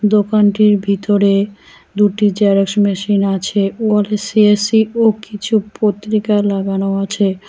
দোকানটির ভিতরে দুটি জেরক্স মেশিন আছে অর সি_এস_সি ও কিছু পত্রিকা লাগানো আছে।